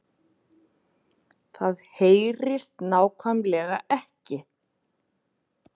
Það HEYRIST NÁKVÆMLEGA EKKI